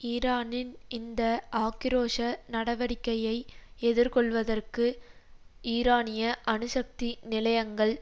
ஈரானின் இந்த ஆக்கிரோஷ நடவடிக்கையை எதிர்கொள்வதற்கு ஈரானிய அணுசக்தி நிலையங்கள்